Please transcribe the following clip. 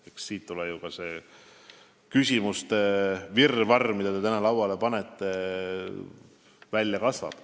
Eks siit tulene ka see küsimuste virvarr, mille te täna lauale panete.